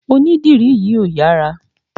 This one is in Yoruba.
Onídìrí yìí ò yára.